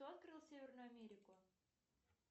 кто открыл северную америку